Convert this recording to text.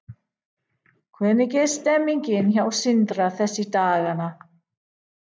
Hvernig er stemmningin hjá Sindra þessa dagana?